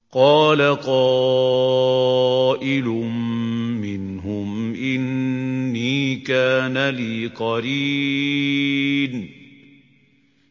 قَالَ قَائِلٌ مِّنْهُمْ إِنِّي كَانَ لِي قَرِينٌ